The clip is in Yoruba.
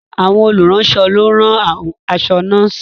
Àwọn olùránṣọ ló ń rán aṣọ nọ́ọ̀sì